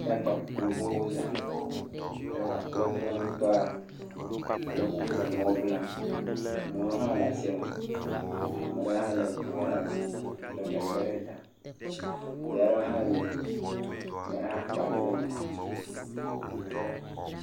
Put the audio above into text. De agba gbogbogbowo zã. Draɛva kple eƒe kpeɖeŋutɔa wole vo, wole nua blam. Ame ɖewo hã le asiame. Amaa ɖewo hã le ŋuɔ ɖe asi lé gagba ɖe ta. Vi aɖewo hã yina. Ame aɖe hã kpa vi ɖe mɛ.